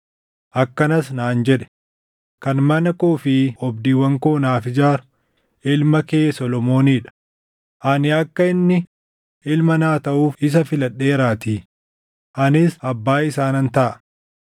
Akkanas naan jedhe; ‘Kan mana koo fi oobdiiwwan koo naaf ijaaru ilma kee Solomoonii dha; ani akka inni ilma naa taʼuuf isa filadheeraatii; anis abbaa isaa nan taʼa.